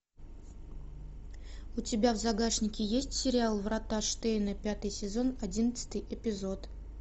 у тебя в загашнике есть сериал врата штейна пятый сезон одиннадцатый эпизод